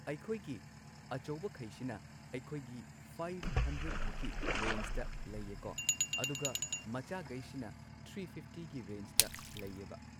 ꯑꯩꯈꯣꯏꯒꯤ ꯑꯆꯧꯕꯈꯩꯁꯤꯅ ꯑꯩꯈꯣꯏꯒꯤ ꯐꯥꯏꯚ ꯍꯟꯗ꯭ꯔꯦꯗ ꯃꯨꯛꯀꯤ ꯔꯦꯟꯖꯗ ꯂꯩꯌꯦꯀꯣ ꯑꯗꯨꯒ ꯃꯆꯥꯒꯩꯁꯤꯅ ꯊ꯭ꯔꯤ ꯐꯤꯐꯇꯤꯒꯤ ꯔꯦꯟꯖꯇ ꯂꯩꯌꯦꯕ